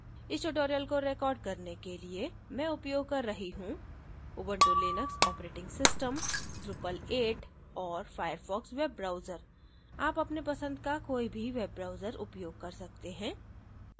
इस tutorial को record करने के लिए मैं उपयोग कर रही हूँ Ubuntu Linux operating system drupal 8 और firefox बेव ब्राउजर आप अपने पसंद का कोई भी बेव ब्राउजर उपयोग कर सकते हैं